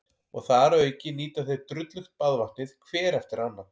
Og þar að auki nýta þeir drullugt baðvatnið hver eftir annan.